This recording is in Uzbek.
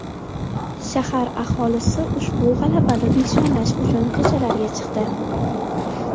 Shahar aholisi ushbu g‘alabani nishonlash uchun ko‘chalarga chiqdi .